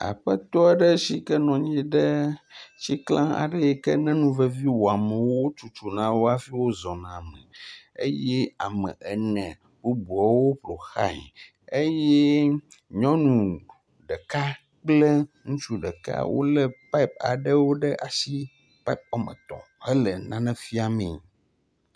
Aƒetɔ aɖe si ke nɔ anyi ɖe tikla aɖe yi ke ne nu vevi wɔ amewo wotutu na hafi wozɔna la me eye ame ene woƒoxlae eye nyɔnu ɖeka kple ŋutsu ɖeka wolé pipe aɖewo ɖe asi pipe woame etɔ̃ hele nane fiame.